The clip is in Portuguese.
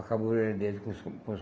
Acabou com os com os.